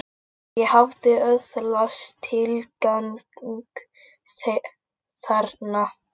Ég hafði öðlast tilgang þarna.